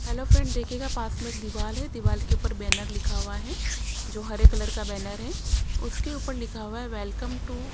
hello friend देखिएगा पास में एक दीवाल है दीवाल के ऊपर बैनर लिखा हुआ है जो हरे कलर का बैनर है उसके ऊपर लिखा हुआ है वेलकम टू --